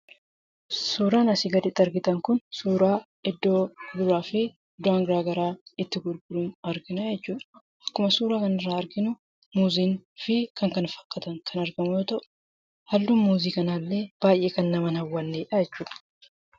Suuraan asii gaditti argitan kun suuraa iddoo mi'aa fi wantoonni garaagaraa itti gurguramu argina jechuudha. Kan suuraa kanarraa arginu muuzii fi kan kana fakkaatan yoo ta'u halluun muuzii kanaallee baay'ee kan nama hin hawwanneedha jechuudha.